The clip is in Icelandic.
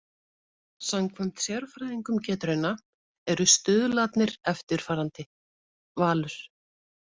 Samkvæmt sérfræðingum Getrauna eru stuðlarnir eftirfarandi: Valur